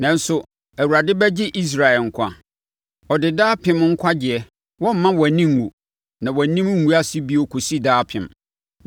Nanso, Awurade bɛgye Israel nkwa, ɔde daapem nkwagyeɛ; Wɔremma wʼani nwu na wʼanim renguase bio kɔsi daapem.